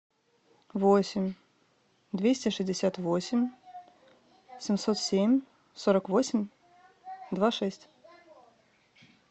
восемь двести шестьдесят восемь семьсот семь сорок восемь два шесть